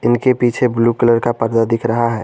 इनके पीछे blue colour का पर्दा दिख रहा है।